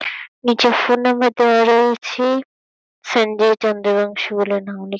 নীচে phone number দেওয়া রয়েছে। সঞ্জয় চন্দ্রবাংশু বলে নাম লে--